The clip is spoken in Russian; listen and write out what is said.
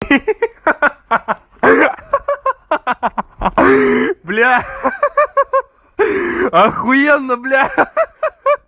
ха-ха бля ахуенно бля